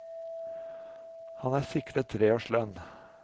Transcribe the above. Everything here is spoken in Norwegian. Han er sikret tre års lønn.